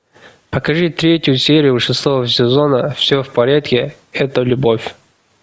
покажи третью серию шестого сезона все в порядке это любовь